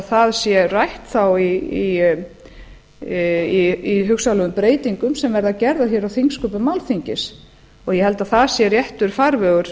það sé rætt þá í hugsanlegum breytingum sem verða gerðar hér á þingsköpum alþingis ég held að það sé réttur farvegur